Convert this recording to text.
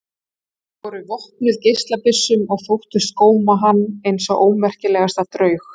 Þau voru vopnuð geislabyssum og þóttust góma hann eins og ómerkilegasta draug.